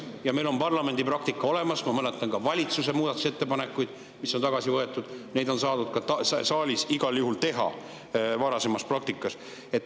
Meil on parlamendi praktika olemas, ma mäletan ka valitsuse muudatusettepanekuid, mis on tagasi võetud, seda on saadud varasemas praktikas igal juhul ka saalis teha.